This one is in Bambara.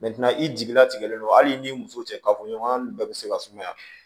i jigi latigɛlen don hali n'i muso cɛ kafoɲɔgɔnya ni bɛɛ bɛ se ka sumaya